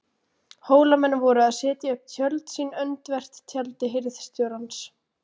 Hólamenn voru að setja upp tjöld sín öndvert tjaldi hirðstjórans.